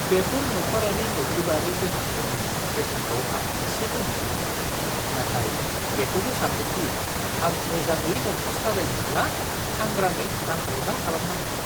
बेफोर नखरारि मोब्लिबारि बेसादफोरनि बेसेनखौ आं एसे गोमोदों, नाथाय बेखौबो सान्दों दि आं मोजाङै न'खौ साजायनोब्ला सांग्राङै रांबावजा खालामनांगोन!